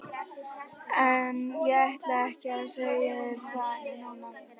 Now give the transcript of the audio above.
En ég ætla ekki að segja þér frá henni núna.